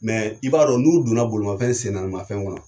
Mɛ i b'a dɔn, n'u donna bolimafɛn sen naani mafɛn kɔnɔ